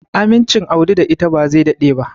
Amincin Audi da ita ba zai daɗe ba.